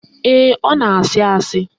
Ee, ọ na-àsị́ àsị́